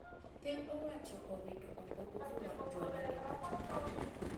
Piny owacho owito oko uso mar juala e pacho kae